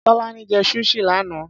Tọ́lání jẹ́ Sushi lánàá.